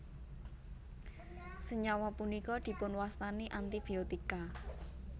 Senyawa punika dipunwastani antibiotika